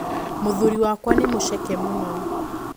Mũthũri wakwa nĩ mũceke mũno.